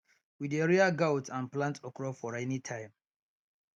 we dey rear goat and plant okro for rainy time